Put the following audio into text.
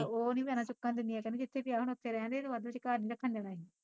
ਉਹ ਨੀ ਭੈਣਾਂ ਚੁੱਕਣ ਦਿੰਦੀਆ ਕਹਿੰਦੀ ਜਿੱਥੇ ਪਿਆ ਹੁਣ ਉੱਥੇ ਰਹਿਣਦੇ ਏਹਨੂੰ ਅੱਧ ਵਿਚਕਾਰ ਨੀ ਰੱਖਣ ਦੇਣਾ ਅਸੀਂ